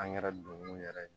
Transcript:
Angɛrɛ don mun yɛrɛ